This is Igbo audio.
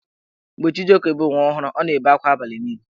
Mgbe Chijioke bụ nwa ọhụrụ, ọ na-ebe akwa abalị niile.